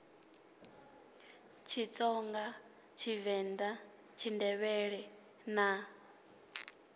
tshitsonga tshivend a tshindevhele na